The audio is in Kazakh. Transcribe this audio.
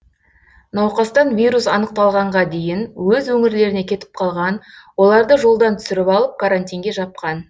науқастан вирус анықталғанға дейін өз өңірлеріне кетіп қалған оларды жолдан түсіріп алып карантинге жапқан